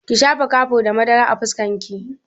Ki shafa kurkur da madara a fuskar ki!